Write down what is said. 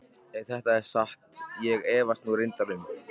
Ef þetta er satt sem ég efast nú reyndar um.